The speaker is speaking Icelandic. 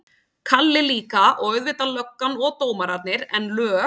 Kalli líka, og auðvitað löggan og dómararnir, en lög